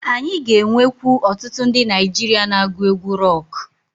Anyị ga-enwekwu otutu ndi Naijiria na-agu egwu roku.